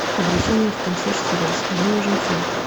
обращение в консьерж сервис мне нужен фен